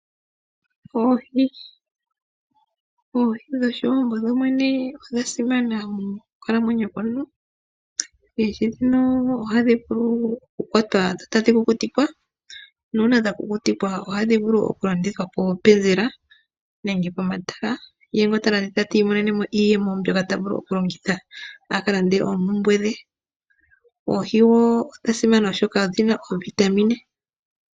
Oohi dhoshiwambo dhodhene odha simana mokukalamwenyo komuntu. Oohi ndhino ohadhi vulu okukwatwa dho tadhi kukutikwa nuuna dha kukutikwa ohadhi vulu oku landithwa poopenzela nenge pomatala ye ngoka ta landitha ti monene mo iiyemo mbyoka ta vulu oku longitha aka lande oompumbwe dhe. Oohi odha simana oshoka odhina oovitamin.